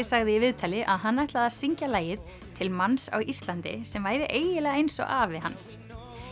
sagði í viðtali að hann ætlaði að syngja lagið til manns á Íslandi sem væri eiginlega eins og afi hans